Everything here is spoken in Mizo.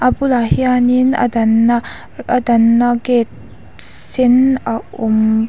bulah hianin a danna a danna gate sen a awm bawk--